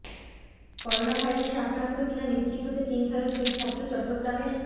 করোনাভাইরাসে আক্রান্ত কি না নিশ্চিত হতে চীনফেরত দুই ছাত্র চট্টগ্রামের